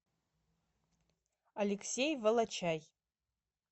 алексей волочай